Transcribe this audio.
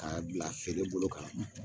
K'a bila feere bolo kan